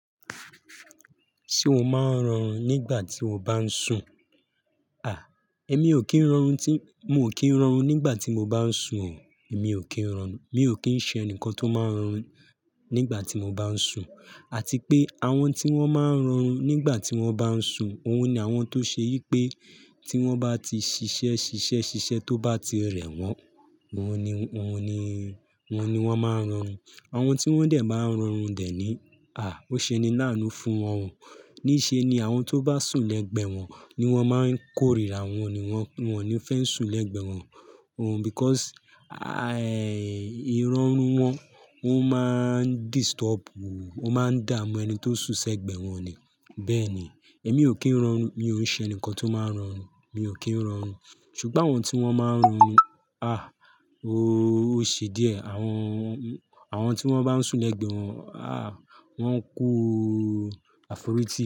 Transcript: Ṣé o máa ń rọrùn nígbà tí o bá ń sùn? À, èmi ò kí ń rọrùn tí, mo ò kí ń rọrùn nígbà tí mo bá ń sùn. Èmi ò kí ń rọrùn, mi ò kí ń ṣe ẹnìkan tó máa ń rọrin nígbà tí mo bá ń sùn. Àti pé àwọn tí wọ́n máa ń rọrùn nígbà tí wọ́n bá ń sùn, òun ni àwọn tó ṣe yí pé tí wọ́n bá ti ṣiṣẹ́, ṣiṣẹ́, ṣiṣẹ́ tó bá ti rẹ̀ wọ́n, wọ́n ni, wọ́n ni, wọ́n ni wọ́n máa ń rọrùn. Àwọn tí wọ́n dẹ̀ bá ń rọrùn dẹ̀ ni, à, ó ṣe ni láánú fún wọn. Níṣe ni àwọn tó bá sùn lẹ́gbẹ̀ẹ́ wọn ni wọ́n máa ń kórìíra wọn ni wọ́n, wọ́n ò ní fẹ́ sùn lẹ́gbẹ̀ẹ́ wọn. Ohun because, a, ẹ, ìrọ́rùn wọn, wọ́n máa ń disturbu, wọ́n máa ń dààmú ẹni tó sùn sẹ́gbẹ̀ẹ́ wọn ni. Bẹ́ẹ̀ ni, èmi ò kí ń rọrùn, mi ò ṣe ẹnìkan tó máa ń rọrùn, mi ò kí ń rọrùn. Ṣùgbọ́n àwọn tí wọ́n máa ń rọrùn ni, à, oóó ṣe díẹ̀. Àwọn, àwọn tí wọ́n bá ń sùn lẹ́gbẹ̀ẹ́ wọn, à, wọ́n ń kú àforítì.